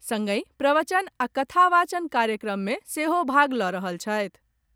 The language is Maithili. संगहि प्रवचन आ कथा वाचन कार्यक्रम मे सेहो भाग लऽ रहल छथि।